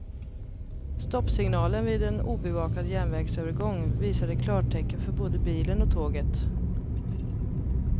Stoppsignalen vid en obevakad järnvägsövergång visade klartecken för både bilen och tåget.